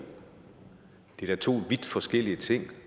det er da to vidt forskellige ting og